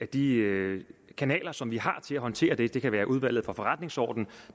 de kanaler som vi har til at håndtere det det kan være udvalget for forretningsordenen